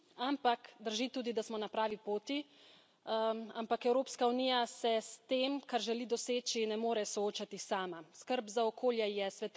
Vse lepo in prav, to drži, drži tudi, da smo na pravi poti, ampak Evropska unija se s tem, kar želi doseči, ne more soočati sama.